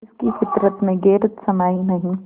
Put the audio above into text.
जिसकी फितरत में गैरत समाई नहीं